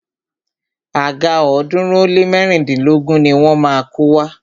Àga ọ̀ọ́dúnrún ó lé mẹ́rìndínlógún ni wọ́n má a kó wá.